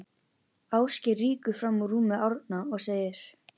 Ásgeir rýkur fram úr rúmi Árna og segir